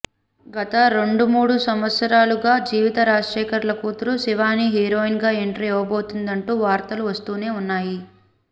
గత రెండు మూడు సంవత్సరాలుగా జీవిత రాజశేఖర్ల కూతురు శివాని హీరోయిన్గా ఎంట్రీ ఇవ్వబోతుంది అంటూ వార్తలు వస్తూనే ఉన్నాయి